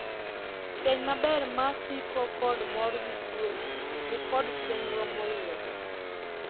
Keny maber ma siko kod mor gi kwe ni kod chenro moyiedhi.